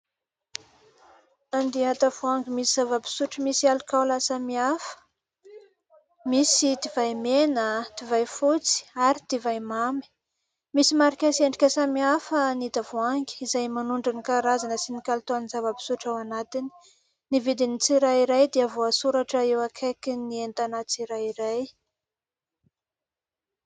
Andian-tavoahangy misy zava-pisotro misy alikaola samihafa misy divay mena, divay fotsy ary divay mamy misy marika sy endrika samihafa ny tavoahangy izay manondro ny karazana sy ny kalitaon'ny zava-pisotro ao anatiny. Ny vidin'ny tsirairay dia voasoratra eo akaikin'ny entana tsirairay.